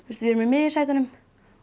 við erum í miðjusætunum